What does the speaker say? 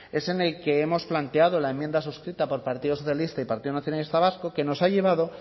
es en el que hemos planteado la enmienda suscrita por partido socialista y partido nacionalista vasco que nos ha llevado